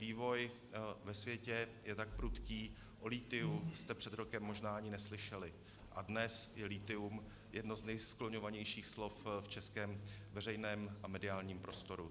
Vývoj ve světě je tak prudký, o lithiu jste před rokem možná ani neslyšeli, a dnes je lithium jedno z nejskloňovanějších slov v českém veřejném a mediálním prostoru.